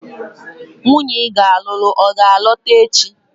Nwunye iga alụlụ a ga-alọta echi?